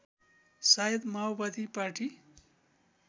सायद माओवादी पार्टी